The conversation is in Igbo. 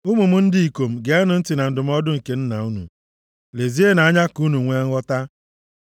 Ụmụ m ndị ikom, geenụ ntị na ndụmọdụ nke nna unu, lezienụ anya ka unu nwee nghọta.